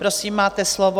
Prosím, máte slovo.